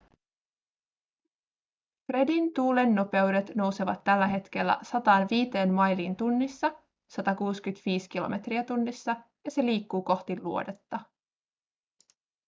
fredin tuulennopeudet nousevat tällä hetkellä 105 mailiin tunnissa 165 km/h ja se liikkuu kohti luodetta